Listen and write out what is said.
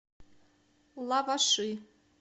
лаваши